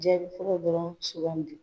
Jaabi fɔlɔ dɔrɔn sugandi .